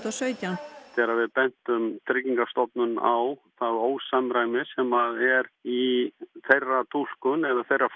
og sautján þegar við bentum Tryggingastofnun á það ósamræmi sem er í þeirra túlkun